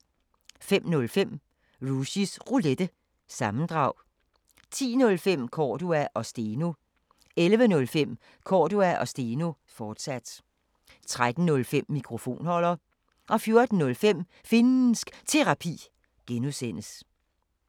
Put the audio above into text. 05:05: Rushys Roulette – sammendrag 10:05: Cordua & Steno 11:05: Cordua & Steno, fortsat 13:05: Mikrofonholder 14:05: Finnsk Terapi (G)